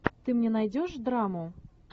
ты мне найдешь драму